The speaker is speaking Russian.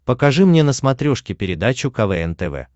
покажи мне на смотрешке передачу квн тв